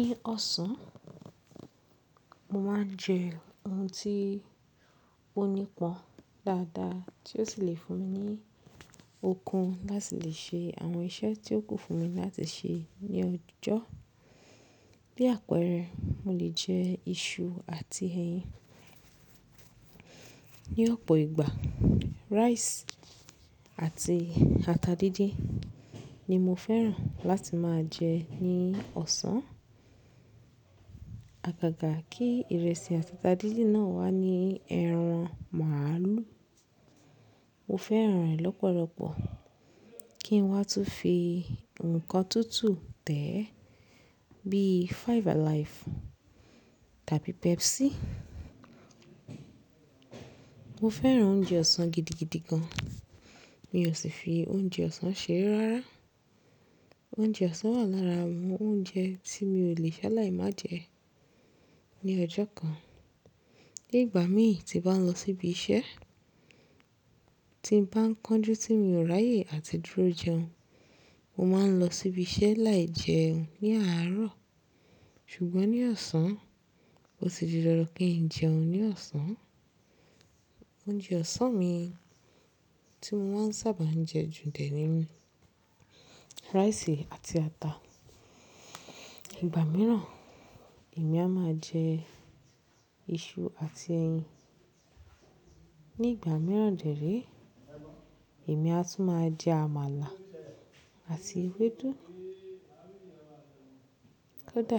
Ní ọ̀sán, mo máa ń jẹ oun tí ó nípọn dáadáa tí ó sì le fún mi ní okun láti lè ṣe àwọn iṣẹ́ tí ó kún fún mi láti ṣe ní ọjọ́. Bí àpẹẹrẹ, mo lè jẹ iṣu àti ẹyin. Ní ọ̀pọ̀ ìgbà rice àti ata díndín ni mo fẹ́ràn láti máa jẹ ní ọ̀sán. Àgàgà kí ìrẹsì àti ata díndín náà wà ní ẹran màlú. Mo fẹ́ràn rẹ̀ lọ́pọ̀lọpọ̀ kí n wá tún fi nkán tútù tẹ̀ ẹ́ bí i Five Alive tàbí Pepsi. Mo fẹ́ràn oúnjẹ ọ̀sán gidigidi gan, mi ò sì fi oúnjẹ ọ̀sán ṣeré rárá. Oúnjẹ ọ̀sán wà lára àwọn oúnjẹ tí mi ò lè ṣaláì má jẹ ní ọjọ́ kan. Ní ìgbà mi tí bà ń lọ síbi iṣẹ́, tí n bá ń kánjú tí mi ò ráyè àti dúró jẹ oun, mo máa ń lọ síbi iṣẹ́ láì jẹ oun ní àárọ̀. Ṣùgbọ́n ní ọ̀sán, ó ti di dandan kí n jẹ oun ní ọ̀sán. Oúnjẹ ọ̀sán mi tí mo máa ń sábà jẹ jù dẹ́ ní rice àti ata. Ìgbà mìíràn èmi a máa jẹ iṣu àti ẹyin. Ní ìgbà mìíràn dẹ̀ rí èmi a tún máa jẹ àmàlà àti ewédú. Kódà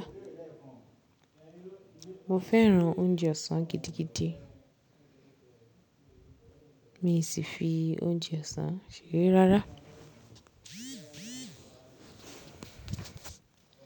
mo fẹ́ràn oúnjẹ ọ̀sán gidigidi, mi ò sì fi oúnjẹ ọ̀sán ṣeré rárá.